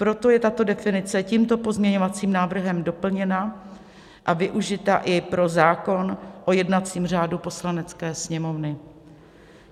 Proto je tato definice tímto pozměňovacím návrhem doplněna a využita i pro zákon o jednacím řádu Poslanecké sněmovny.